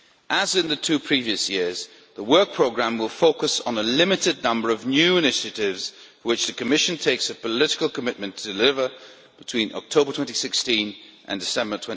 As in the two previous years, the work programme will focus on a limited number of new initiatives which the Commission makes a political commitment to deliver between October 2016 and December